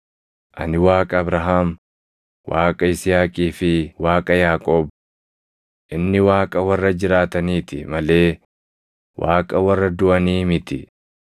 ‘Ani Waaqa Abrahaam, Waaqa Yisihaaqii fi Waaqa Yaaqoob.’ + 22:32 \+xt Bau 3:6\+xt* Inni Waaqa warra jiraataniiti malee Waaqa warra duʼanii miti.”